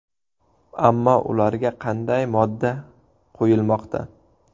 Ammo ularga qanday modda qo‘yilmoqda?